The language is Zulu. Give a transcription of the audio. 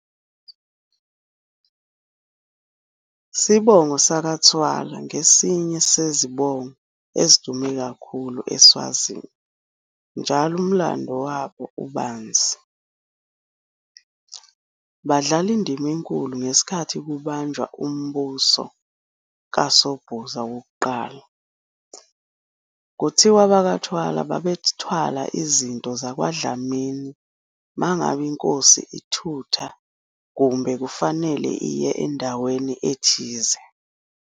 Sibongo sakaTfwala ngesinye sezibongo ezidume kakhulu eSwazini njalo umlando wabo ubanzi, badlala indima enkulu ngeskhathi kubunjwa umbuso kaSobhuza wokuqala. Kuthiwa abakwaThwala babethwala izinto zakwaDlamini ma ngabe inkosi ithutha kumbe kufanele iye endaweni ethize.